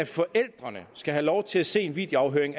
forældrene skal have lov til at se en videoafhøring